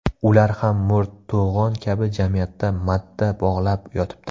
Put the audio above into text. Ular ham mo‘rt to‘g‘on kabi jamiyatda madda bog‘lab yotibdi.